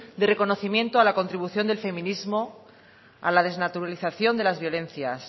de reconocimiento a la contribución del feminismo a la desnaturalización de las violencias